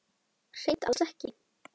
Hreint alls ekki.